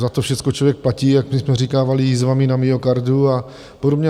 Za to všechno člověk platí, jak my jsme říkávali, jizvami na myokardu a podobně.